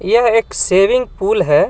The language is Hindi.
यह एक सेविंग पुल है.